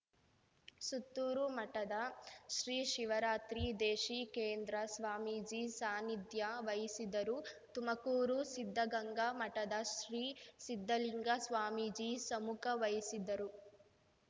ಸುತ್ತೂರು ಮಠದ ಶ್ರೀ ಶಿವರಾತ್ರಿ ದೇಶಿಕೇಂದ್ರ ಸ್ವಾಮೀಜಿ ಸಾನ್ನಿಧ್ಯ ವಹಿಸಿದ್ದರು ತುಮಕೂರು ಸಿದ್ಧಗಂಗಾ ಮಠದ ಶ್ರೀ ಸಿದ್ಧಲಿಂಗ ಸ್ವಾಮೀಜಿ ಸಮ್ಮುಖ ವಹಿಸಿದ್ದರು